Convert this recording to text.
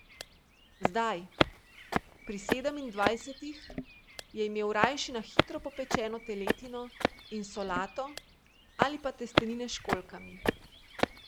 Zdaj, pri sedemindvajsetih, je imel rajši na hitro popečeno teletino in solato ali pa testenine s školjkami.